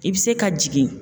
I bɛ se ka jigin.